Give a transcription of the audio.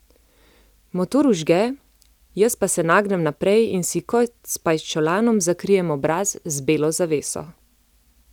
Motor vžge, jaz pa se nagnem naprej in si kot s pajčolanom zakrijem obraz z belo zaveso.